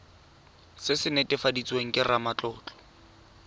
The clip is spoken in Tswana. se se netefaditsweng ke ramatlotlo